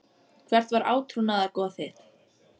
Hvert var átrúnaðargoð þitt?